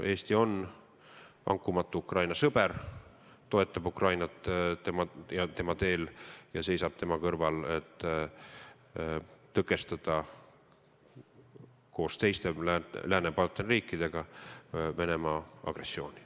Eesti on vankumatu Ukraina sõber, toetab Ukrainat tema teel ja seisab tema kõrval, et tõkestada koos meie partneritest lääneriikidega Venemaa agressiooni.